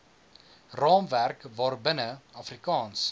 raamwerk waarbinne afrikaans